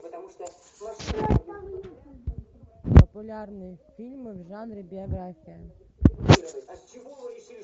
популярные фильмы в жанре биография